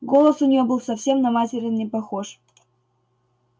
голос у неё был совсем на материн не похож